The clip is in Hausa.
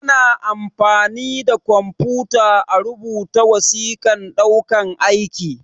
Ana amfani da kwamfuta a rubuta wasiƙan ɗaukan aiki